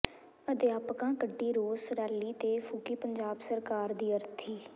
ਅਧਿਆਪਕਾਂ ਕੱਢੀ ਰੋਸ ਰੈਲੀ ਤੇ ਫੂਕੀ ਪੰਜਾਬ ਸਰਕਾਰ ਦੀ ਅਰਥੀ